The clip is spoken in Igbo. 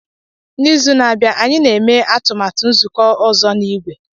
N'izu na-abịa, anyị na-eme atụmatụ nzụkọ ọzọ na igwe.